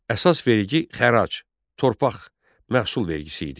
Əsas vergi xərac, torpaq məhsul vergisi idi.